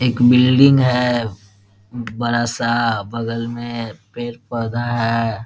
एक बिल्डिंग है बड़ा सा बगल मे पेड़-पौधा है ।